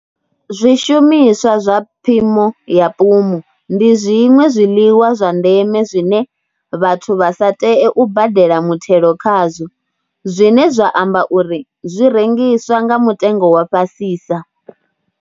Zwishumiswa zwa phimo ya pumu ndi zwiṅwe zwiḽiwa zwa ndeme zwine vhathu vha sa tee u badela muthelo khazwo, zwine zwa amba uri zwi rengiswa nga mutengo wa fhasisa.